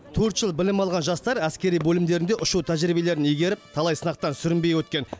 төрт жыл білім алған жастар әскери бөлімдерінде ұшу тәжірибелерін игеріп талай сынақтан сүрінбей өткен